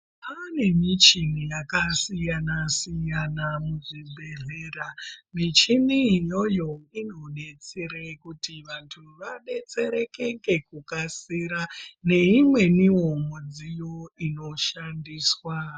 Kwane muchini yakasiyana siyana muzvibhehlera michini iyoyo inodetsera kuti vantu vadetsereke ngekukasira neimweniwo midziyo inoshandiswa.